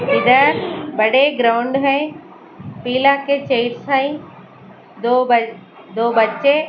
इधर बड़े ग्राउंड है पीला के चेयर्स है दो ब दो बच्चे --